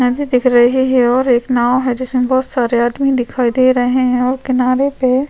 झे दिख रहे है और एक नाव हैं जिसमे बहोत सारे आदमी दिख रहे हैं और किनारे पे--